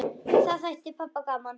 Það þætti pabba gaman.